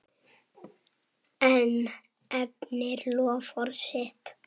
Hann efnir loforð sitt.